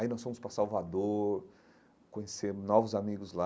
Aí nós fomos para Salvador, conhecemos novos amigos lá,